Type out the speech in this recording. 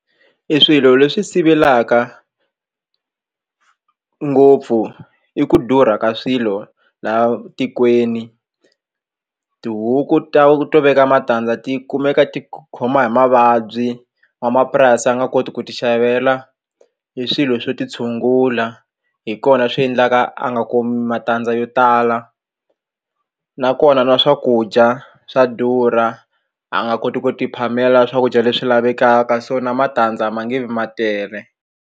Eswilo leswi sivelaka ngopfu i ku durha ka swilo laha tikweni tihuku ta to veka matandza ti kumeka ti khoma hi mavabyi n'wamapurasi a nga koti ku ti xavela hi swilo swo ti tshungula hi kona swi endlaka a nga kumi matandza yo tala nakona na swakudya swa durha a nga koti ku ti phamela swakudya leswi lavekaka so na matandza ma nge vi ma tele.